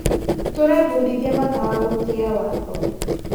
Tũrebundithia bata wa gũtĩa watho.